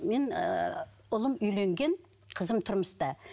мен ыыы ұлым үйленген қызым тұрмыста